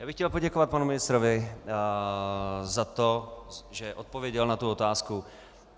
Já bych chtěl poděkovat panu ministrovi za to, že odpověděl na tu otázku.